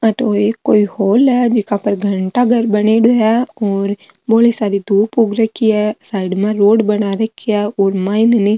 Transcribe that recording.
अठ एक ओ हॉल है जीका पर घंटा घर बनेड़ा है और बोली सारी दूब उग रखी है साइड में रोड बना रखी है और माइन है नि --